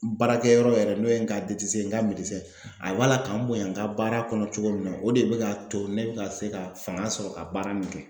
Baarakɛ yɔrɔ yɛrɛ n'o ye n ka n ka a b'a la ka n bonya n ka baara kɔnɔ cogo min na, o de bi k'a to ne bɛ ka se ka fanga sɔrɔ ka baara in kɛ